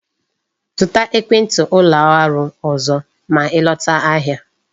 Zụta ekwenti ụlọ ọrụ ọzọ ma I lọtawa ahịa